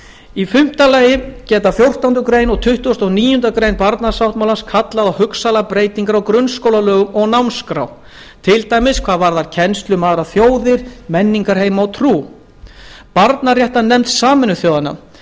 í fimmta lagi geta fjórtándu greinar og tuttugasta og níundu grein barnasáttmálans kallað á hugsanlegar breytingar á grunnskólalögum og námskrá til dæmis hvað varðar kennslu um aðrar þjóðir menningarheima og trú barnaréttarnefnd sameinuðu þjóðanna